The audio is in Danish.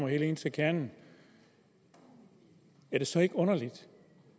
helt ind til kernen er det så ikke underligt